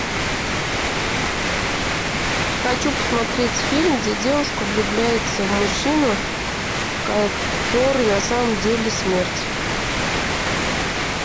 хочу посмотреть фильм где девушка влюбляется в мужчину который на самом деле смерть